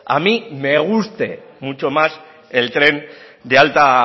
a mí me guste mucho más el tren de alta